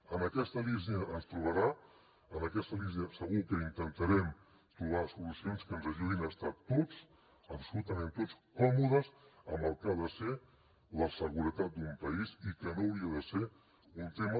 en aquesta línia ens trobarà en aquesta línia segur que intentarem trobar solucions que ens ajudin a estar a tots absolutament a tots còmodes amb el que ha de ser la seguretat d’un país i que no hauria de ser un tema